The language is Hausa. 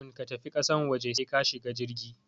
Kafun ka tafi kasan waje sai ka shiga jirgi